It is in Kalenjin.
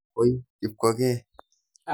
Koi Kipkogei.